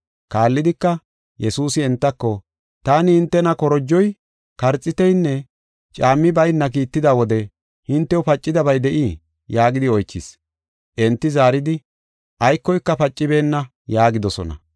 Kaallidika, Yesuusi entako, “Taani hintena korojoy, karxiitinne caammi baynna kiitida wode hintew pacidabay de7ii?” yaagidi oychis. Enti zaaridi, “Aykoyka pacibeenna” yaagidosona.